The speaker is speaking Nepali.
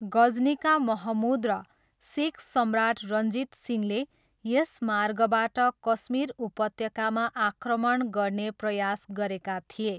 गजनीका महमुद र सिख सम्राट रञ्जित सिंहले यस मार्गबाट कश्मीर उपत्यकामा आक्रमण गर्ने प्रयास गरेका थिए।